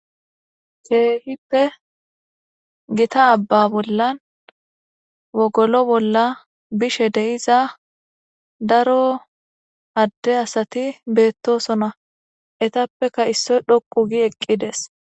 Keehippe gita abba bollan wogolo bolla bishe deiza daro adde asati beettosona etappeka issoy dhoqu gi eqqides